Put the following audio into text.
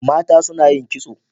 Mata suna yin kitso.